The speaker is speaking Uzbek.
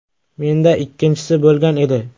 Menda ikkinchisi bo‘lgan edi.